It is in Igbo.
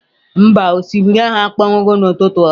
Mba, osimiri ahụ akpọnwụghị n'ụtụtụ a.